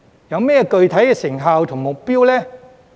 有甚麼具體成效和目標呢？